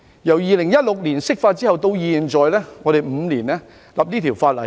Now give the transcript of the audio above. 由2016年釋法到現在，我們用了5年制定這項法案。